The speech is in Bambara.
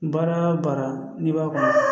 Baara o baara n'i b'a kɔnɔ